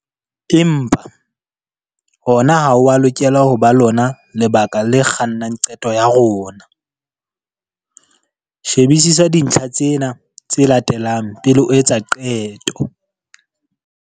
Empa, hona ha ho a lokela ho ba lona lebaka le kgannang qeto ya rona. Shebisisa dintlha tsena tse latelang pele o etsa qeto.